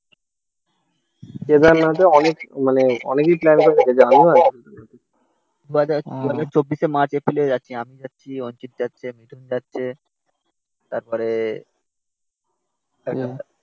দু হাজার চব্বিশে মার্চ এপ্রিল এ যাচ্ছি আমি যাচ্ছি অঞ্জিত যাচ্ছে মিঠুন যাচ্ছে তারপরে